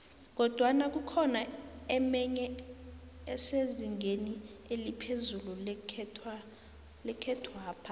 kodwana kukhona emenye esezingeni eliphezu nekhethwapha